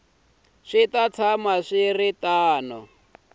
swi ta tshama swi ri